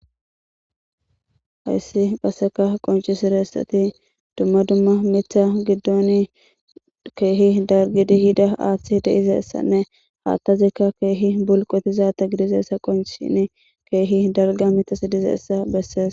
hayssi qasseka qoncisire essati dumma dumma mitha giddon keehi dargidi hida aaththi deizessanne haattazikka keehi bulqotizaata gidizeessa qonchini keehi darga mita sidizessa bessees